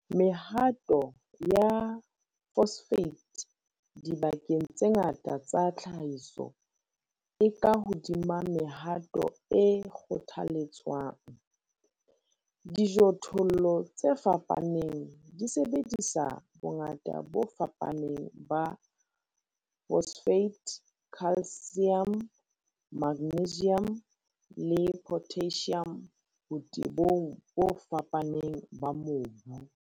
Mehato ya phosphate dibakeng tse ngata tsa tlhahiso e ka hodima mehato e kgothaletswang. Dijothollo tse fapaneng di sebedisa bongata bo fapaneng ba phosphate, calcium, magnesium le potassium botebong bo fapaneng ba mobu.